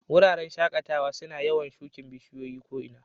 Wuraren shakatawa suna yawan shukin bishiyoyi ko ina.